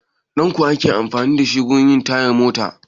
Danƙo ake amfani da shi wurin yin tayar mota?